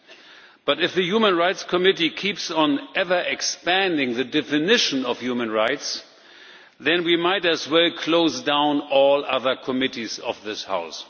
But if the Subcommittee on Human Rights keeps on ever expanding the definition of human rights, then we might as well close down all other committees of this House.